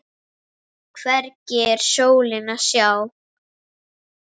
Hvergi er slóð að sjá.